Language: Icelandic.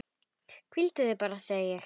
Hvíldu þig bara, segi ég.